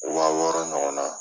Wa wɔɔrɔ ɲɔgɔn na.